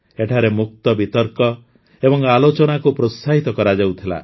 ଏଠାରେ ମୁକ୍ତ ବିତର୍କ ଏବଂ ଆଲୋଚନାକୁ ପ୍ରୋତ୍ସାହିତ କରାଯାଉଥିଲା